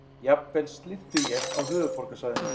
Jafnvel slydduél á höfuðborgarsvæðinu